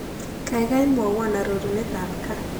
Kaigai mwawon arorunetap gaa